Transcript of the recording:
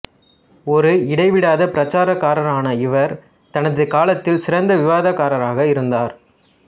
ஒரு இடைவிடாத பிரச்சாரகரான இவர் தனது காலத்தில் சிறந்த விவாதக்காரராக இருந்தார்